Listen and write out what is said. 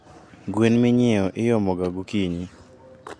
Gwen minyieo iomoga gokinyi